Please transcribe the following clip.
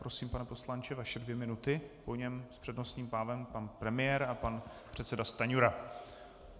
Prosím, pane poslanče, vaše dvě minuty, po něm s přednostním právem pan premiér a pan předseda Stanjura.